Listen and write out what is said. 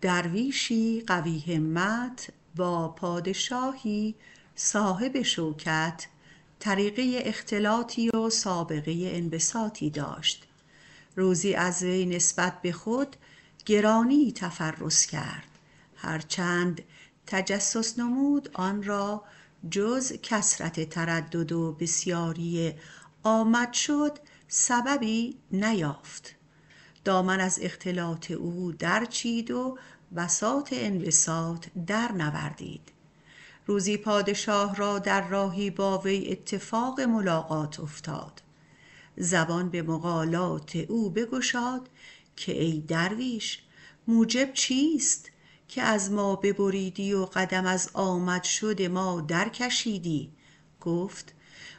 درویشی قوی همت با پادشاهی صاحب شوکت طریقه اختلاطی و سابقه انبساطی داشت روزی از وی نسبت به خودگرانی تفرس کرد هر چند تجسس نمود جز کثرت تردد و بسیاری آمد شد آن را سببی نیافت دامن از اختلاط او درچید و بساط انبساط او درنوردید روزی آن پادشاه را با وی در ممری اتفاق ملاقات افتاد زبان به مقالات بگشاد که ای درویش موجب چیست که از ما ببریدی و قدم از آمد شد ما درکشیدی گفت